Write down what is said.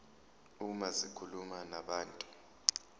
uma zikhuluma nabantu